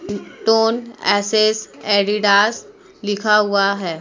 Tone एसेस Adidas लिखा हुआ है।